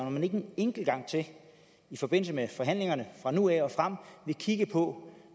om han ikke en enkelt gang til i forbindelse med forhandlingerne fra nu af og frem vil kigge på